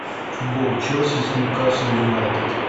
футбол челси с ньюкасл юнайтед